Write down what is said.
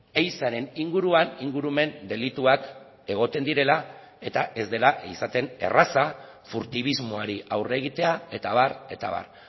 ehizaren inguruan ingurumen delituak egoten direla eta ez dela izaten erraza furtibismoari aurre egitea eta abar eta abar